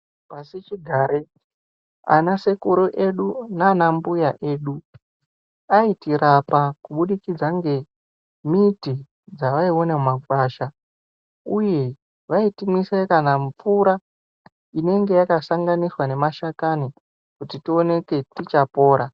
Pasi chigare ana sekuru edu nana mbuya edu aitirapa kubudikidza nge miti dzavaiona mu makwasha uye vaiti mwise kana mvura inenge yaka sanganiswa ne mashakani kuti tioneke ticha pora.